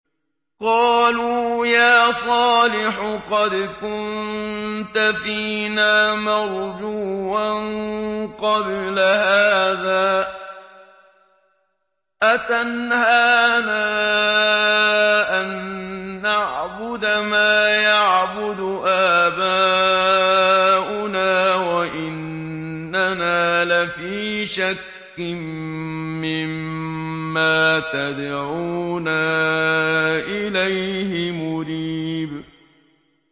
قَالُوا يَا صَالِحُ قَدْ كُنتَ فِينَا مَرْجُوًّا قَبْلَ هَٰذَا ۖ أَتَنْهَانَا أَن نَّعْبُدَ مَا يَعْبُدُ آبَاؤُنَا وَإِنَّنَا لَفِي شَكٍّ مِّمَّا تَدْعُونَا إِلَيْهِ مُرِيبٍ